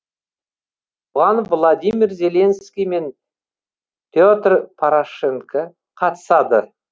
оған владимир зеленский мен петр порошенко қатысады